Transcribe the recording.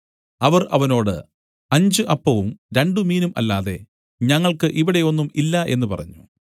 അവർ അവനോട് അഞ്ച് അപ്പവും രണ്ടുമീനും അല്ലാതെ ഞങ്ങൾക്കു ഇവിടെ ഒന്നും ഇല്ല എന്നു പറഞ്ഞു